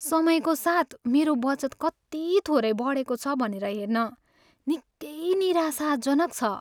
समयको साथ मेरो बचत कति थोरै बढेको छ भनेर हेर्न निकै निराशाजनक छ।